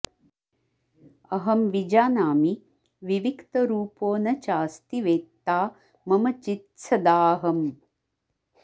अहं विजानामि विविक्तरूपो न चास्ति वेत्ता मम चित्सदाऽहम्